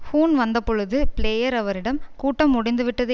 ஹூன் வந்தபொழுது பிளேயர் அவரிடம் கூட்டம் முடிந்து விட்டது